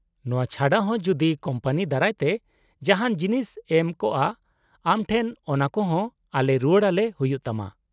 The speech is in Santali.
-ᱱᱚᱶᱟ ᱪᱷᱟᱰᱟ ᱦᱚᱸ ᱡᱩᱫᱤ ᱠᱳᱢᱯᱟᱱᱤ ᱫᱟᱨᱟᱭ ᱛᱮ ᱡᱟᱦᱟᱱ ᱡᱤᱱᱤᱥ ᱮᱢ ᱠᱚᱜᱼᱟ ᱟᱢ ᱴᱷᱮᱱ ᱚᱱᱟᱠᱚ ᱦᱚᱸ ᱟᱞᱮ ᱨᱩᱣᱟᱹᱲ ᱟᱞᱮ ᱦᱩᱭᱩᱜ ᱛᱟᱢᱟ ᱾